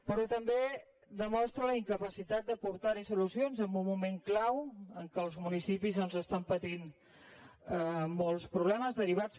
però també demostra la incapacitat d’aportar hi solucions en un moment clau en què els municipis doncs estan patint molts problemes derivats